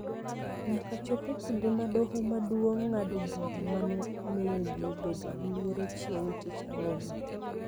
nyaka chop e kinde ma Doho Maduong� ng�ado bura ma ne omiyo ji obedo gi luoro chieng� tich ang�wen.